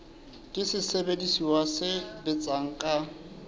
ke sesebediswa se sebetsang ka